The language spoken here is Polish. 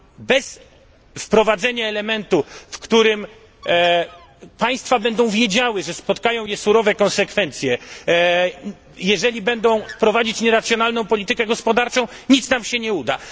Bez wprowadzenia elementu, dzięki któremu państwa będą wiedziały, że spotkają je surowe konsekwencje, jeżeli będą prowadzić nieracjonalną politykę gospodarczą, nic nam się nie uda.